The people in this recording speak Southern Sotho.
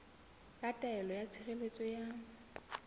ya taelo ya tshireletso ya